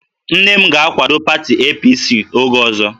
Nne m ga-akwado pati APC oge ọzọ